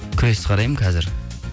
күрес қараймын қазір